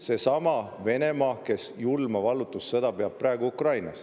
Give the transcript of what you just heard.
Seesama Venemaa, kes peab praegu Ukrainas julma vallutussõda.